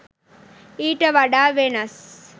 ඊට වඩා වෙනස්